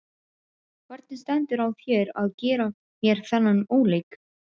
Hvernig stendur á þér að gera mér þennan óleik?